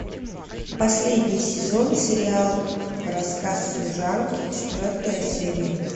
последний сезон сериал рассказ служанки четвертая серия